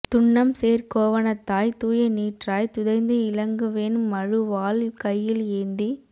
துன்னம் சேர் கோவணத்தாய் தூய நீற்றாய் துதைந்து இலங்கு வெண் மழுவாள் கையில் ஏந்தி